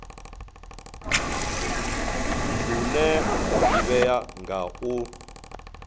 une wa ḓivhea nga u